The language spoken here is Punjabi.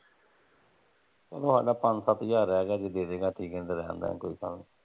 ਓਹਨੂੰ ਆਖਣਾ ਪੰਜ ਸੱਤ ਹਜ਼ਾਰ ਰਹਿ ਗਿਆ ਜੇ ਦੇਦੇ ਗਾ ਠੀਕ ਏ ਨਹੀਂ ਤਾਂ ਰਹਿਣ ਦਿਆਂਗੇ ਕੋਈ ਗੱਲ ਨਹੀਂ।